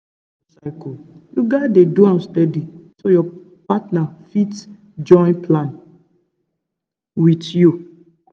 if you dey monitor your cycle you gats dey do am steady so your partner fit join plan with you.